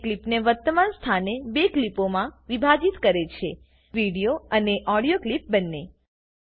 તે ક્લીપને વર્તમાન સ્થાને બે ક્લીપોમાં વિભાજીત કરે છે વિડીયો અને ઓડીયો ક્લીપ બંને